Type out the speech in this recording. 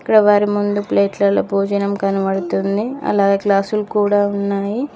ఈడ వారి ముందు ప్లేట్ లలో భోజనం కనబడుతుంది అలాగే గ్లాస్ లు కూడా ఉన్నాయి.